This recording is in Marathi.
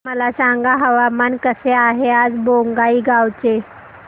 मला सांगा हवामान कसे आहे आज बोंगाईगांव चे